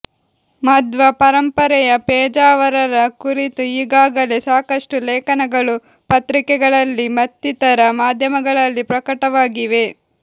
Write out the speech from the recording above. ಮಧ್ವ ಪರಂಪರೆಯ ಪೇಜಾವರರ ಕುರಿತು ಈಗಾಗಲೇ ಸಾಕಷ್ಟು ಲೇಖನಗಳು ಪತ್ರಿಕೆಗಳಲ್ಲಿ ಮತ್ತಿತರ ಮಾಧ್ಯಮಗಳಲ್ಲಿ ಪ್ರಕಟವಾಗಿವೆ